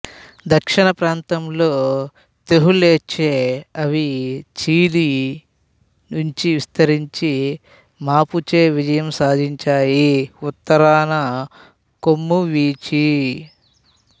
దక్షిణప్రాంతంలో తెహూల్చేఅవి చిలీ నుంచి విస్తరించిన మాపుచే విజయం సాధించాయి ఉత్తరాన కోమ్ విచి